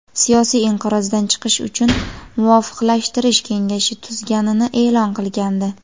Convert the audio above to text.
siyosiy inqirozdan chiqish uchun Muvofiqlashtirish kengashi tuzganini e’lon qilgandi.